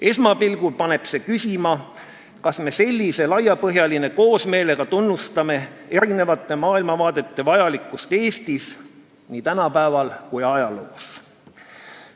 Esmapilgul paneb see küsima, kas me sellise laiapõhjalise koosmeelega tunnustame eri maailmavaadete vajalikkust Eestis, nii tänapäeval kui ka ajaloos.